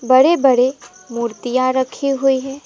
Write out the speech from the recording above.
बड़े बड़े मूर्तियां रखी हुई है।